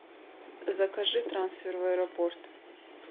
закажи трансфер в аэропорт